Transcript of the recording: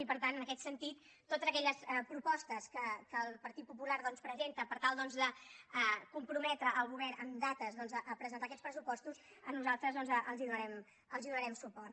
i per tant en aquest sentit a totes aquelles propostes que el partit popular doncs presenta per tal de comprometre el govern amb dates doncs a presentar aquests pressupostos nosaltres els donarem suport